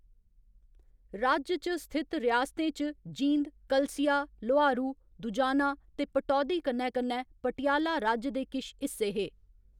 राज्य च स्थित रियासतें च जींद, कलसिया, लोहारू, दुजाना ते पटौदी कन्नै कन्नै पटियाला राज्य दे किश हिस्से हे।